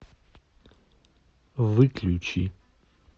выключи